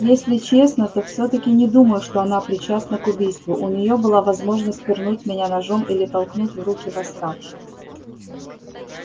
если честно то всё таки не думаю что она причастна к убийству у неё была возможность пырнуть меня ножом или толкнуть в руки восставших